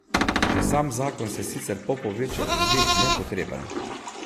Že sam zakon se sicer Popoviču zdi nepotreben.